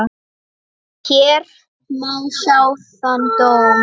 Hér má sjá þann dóm.